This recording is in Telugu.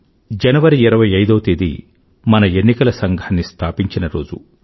జనవరి25వ తేదీ మన ఎన్నికల సంఘాన్ని స్థాపించిన రోజు